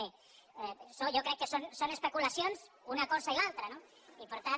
bé això jo crec que són especulacions una cosa i l’altra no i per tant